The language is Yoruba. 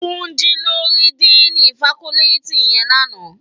Tunji lò ri dìnî fákòlìtí yèn làná